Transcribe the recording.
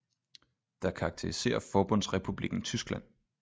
Der karakteriserer forbundsrepublikken tyskland